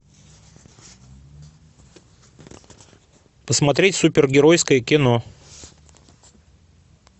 посмотреть супергеройское кино